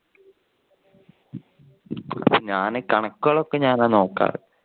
ഞാൻ ഈ കണക്കുകൾ ഒക്കെ ഞാൻ ആ നോക്കാറ്.